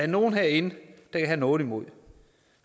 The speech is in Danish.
nogen herinde kan have noget imod